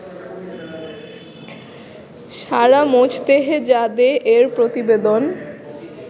সারা Mojtehedzadeh এর প্রতিবেদন